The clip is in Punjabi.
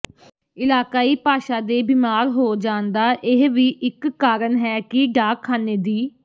ਇਲਾਕਾਈ ਭਾਸ਼ਾ ਦੇ ਬੀਮਾਰ ਹੋ ਜਾਣ ਦਾ ਇਹ ਵੀ ਇਕ ਕਾਰਨ ਹੈ ਕਿ ਡਾਕਖਾਨੇ ਦੀ